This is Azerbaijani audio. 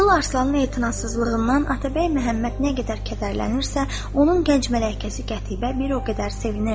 Qızıl Arslanın etinasızlığından Atabəy Məhəmməd nə qədər kədərlənirsə, onun gənc mələkəsi Qətibə bir o qədər sevinirdi.